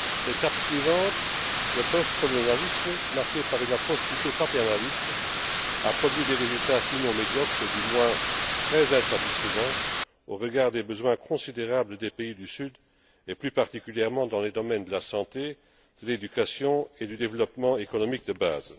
L'étape suivante le post colonialisme marquée par une approche plutôt paternaliste, a produit des résultats, sinon médiocres, du moins très insatisfaisants au regard des besoins considérables des pays du sud, plus particulièrement dans les domaines de la santé, de l'éducation et du développement économique de base.